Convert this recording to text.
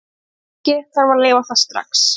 Ef ekki, þarf að leyfa það strax.